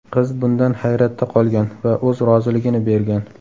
Qiz bundan hayratda qolgan va o‘z roziligini bergan.